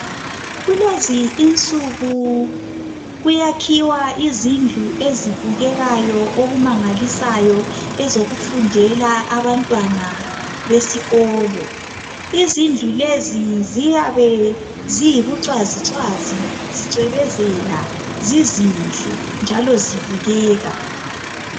Kulezinsuku kuyakhiwa izindlu ezibukekayo okumangalisayo ezokufundela abantwana besikolo. Izindlu lezi ziyabe ziyibucwazicwazi zicwebezela zizinhle njalo zibukeka.